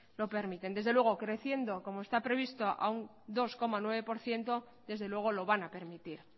lo permiten desde luego creciendo como está previsto a un dos coma nueve por ciento desde luego lo van a permitir